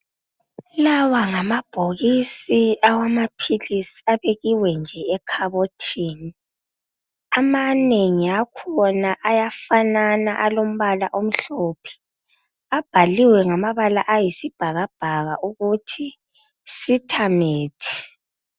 Lawa ngamabhokisi awamaphilisi abekiwe nje ekhabothini. Amanengi akhona ayafanana alombala omhlophe, abhaliwe ngamabala ayisibhakabhaka ukuthi SITA-Met.